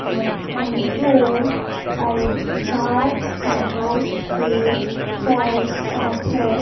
and on the floor have a dark and light grey tiles are there.